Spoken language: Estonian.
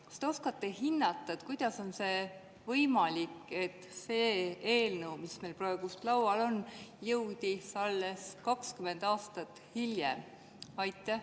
Kas te oskate hinnata, kuidas on võimalik, et see eelnõu, mis meil praegu laual on, jõudis siia alles 20 aastat hiljem?